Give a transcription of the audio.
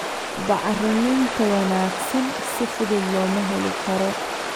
Bacriminta wanaagsan si fudud looma heli karo.